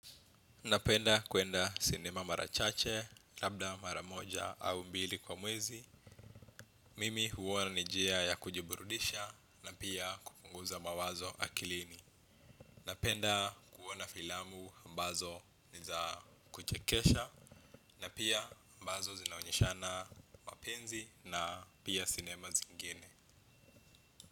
Napenda kuenda sinema mara chache, labda mara moja au mbili kwa mwezi. Mimi huona ni njia ya kujiburudisha na pia kupunguza mawazo akilini. Napenda kuona filamu ambazo ni za kuchekesha na pia ambazo zinaonyeshana mapenzi na pia sinema zingine.